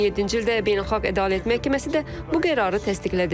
2007-ci ildə Beynəlxalq Ədalət Məhkəməsi də bu qərarı təsdiqlədi.